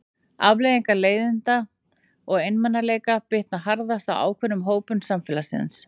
Afleiðingar leiðinda og einmanaleika bitna harðast á ákveðnum hópum samfélagsins.